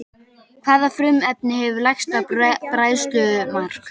Hvaða frumefni hefur lægsta bræðslumark?